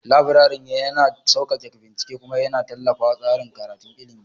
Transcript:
Laburaren yana sauƙaƙe bincike kuma yana tallafawa tsarin karatun ilimi.